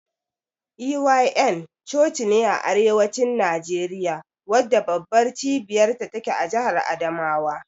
EYN cocine a arewacin Nageriya wadda babbar cibiyar ta take jahar adamawa.